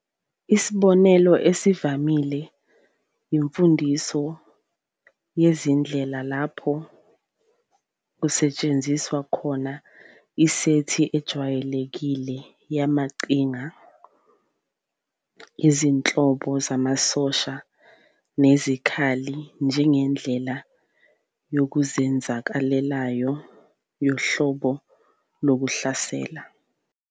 Isibonelo esivamile yimfundiso yezindlela lapho kusetshenziswa khona isethi ejwayelekile yamaqhinga, izinhlobo zamasosha nezikhali njengendlela yokuzenzakalelayo yohlobo lokuhlasela.